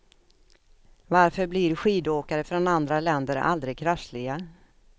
Varför blir skidåkare från andra länder aldrig krassliga?